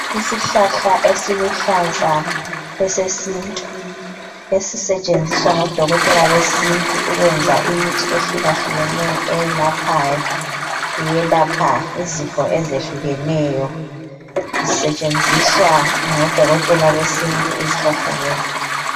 Isihlahla esiluhlaza esesintu esisetshenziswa ngodokotela besintu ukwenza imithi ehlukahlukeneyo eyelaphayo iyelapha izifo ezehlukeneyo zisetshenziswa ngodokotela besintu izihlahla lezi